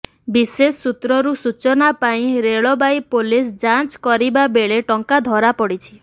ବିଶେଷ ସୂତ୍ରରୁ ସୂଚନା ପାଇଁ ରେଳବାଇ ପୋଲିସ ଯାଞ୍ଚ କରିବା ବେଳେ ଟଙ୍କା ଧରାପଡ଼ିଛି